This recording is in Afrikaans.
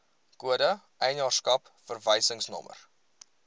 kode eienaarskap verwysingsnommer